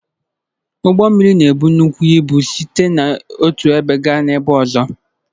Ụgbọ mmiri na-ebuga nnukwu ịbụ site n'otu ebe gaa ebe ọzọ.